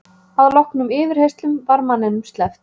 Að loknum yfirheyrslum var manninum sleppt